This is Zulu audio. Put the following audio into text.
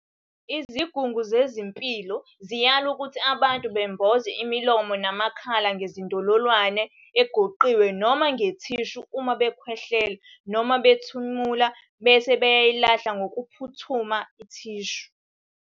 Izigungu zezempilo ziyala ukuthi abantu bemboze imilomo namakhala ngezindololwane egoqiwe noma ngethishu uma bekhwehlela noma bethimula, bese beyayilahla ngokuphuthuma ithishu.